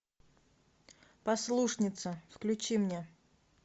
послушница включи мне